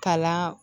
Kala